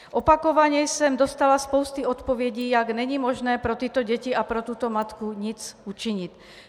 Opakovaně jsem dostala spoustu odpovědí, jak není možné pro tyto děti a pro tuto matku nic učinit.